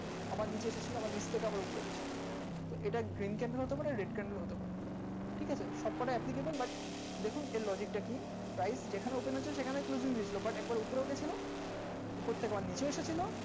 আবার নিচের দিকে আবার উপর এটা daisy, candle ও হতে পারে red, candle ও হতে পারে ঠিক আছে প্রায় করতে পারে।